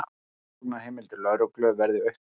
Rannsóknarheimildir lögreglu verði auknar